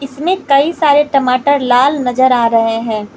इसमें कई सारे टमाटर लाल नजर आ रहे हैं।